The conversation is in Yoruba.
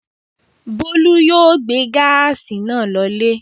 Bólú yóò gbé gáásì náà lọlé.